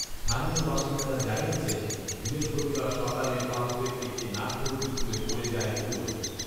স্থানীয় বাসিন্দারা জানিয়েছেন, বৃহস্পতিবার সকালে পাম্পের একটি নাটবল্টু খুলে পডে় যায় কুয়োয়